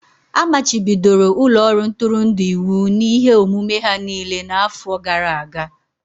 A machibidoro ụlọ ọrụ ntụrụndụ iwu n'ihe omume ha niile n'afọ gara aga.